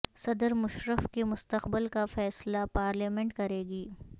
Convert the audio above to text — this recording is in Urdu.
صدر مشرف کے مستقبل کا فیصلہ پارلیمنٹ کرے گی